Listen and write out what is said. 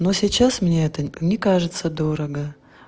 но сейчас мне это не кажется дорого